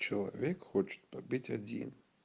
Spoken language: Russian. человек хочет побыть один